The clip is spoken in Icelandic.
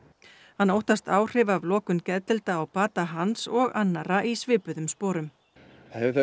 hann óttast áhrif af lokun geðdeilda á bata hans og annarra í svipuðum sporum það hefur þau